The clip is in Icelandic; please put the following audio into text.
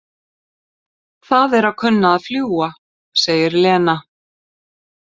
Það er að kunna að fljúga, segir Lena.